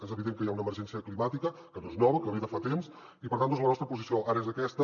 és evident que hi ha una emergència climàtica que no és nova que ve de fa temps i per tant la nostra posició ara és aquesta